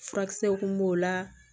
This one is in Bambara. Furakisɛw kun b'o la